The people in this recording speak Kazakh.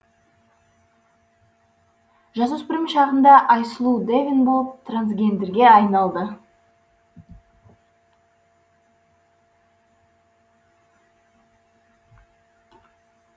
жасөспірім шағында айсұлу дэвин болып трансгендерге айналды